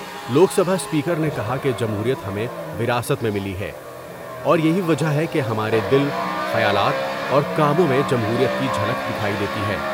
لوک Sabha speaker نے کہا کہ جمہوریت ہمیں وراثت میں ملی ہے اور یہی وجہ ہے کہ ہمارے دل ، خیالات اور کاموں میں جمہوریت کی جھلک دکھائی دیتی ہے ۔